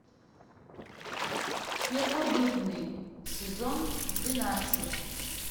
первобытный сезон двенадцать